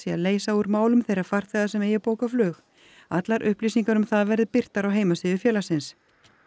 í að leysa úr málum þeirra farþega sem eigi bókað flug allar upplýsingar um það verði birtar á heimasíðu félagsins